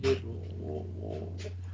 og